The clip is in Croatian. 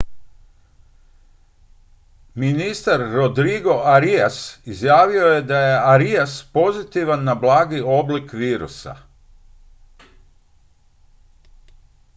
ministar rodrigo arias izjavio je da je arias pozitivan na blagi oblik virusa